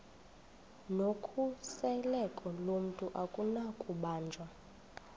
nokhuseleko lomntu akunakubanjwa